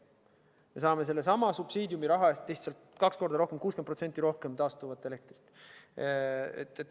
Me saame sellesama subsiidiumi raha eest lihtsalt kaks korda rohkem, 60% rohkem taastuvat elektrit.